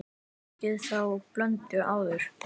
Ekki fengið þá blöndu áður.